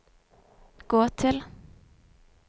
gå til